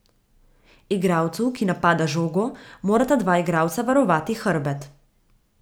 Igralcu, ki napada žogo, morata dva igralca varovati hrbet.